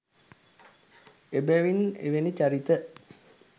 එබැවින් එවැනි චරිත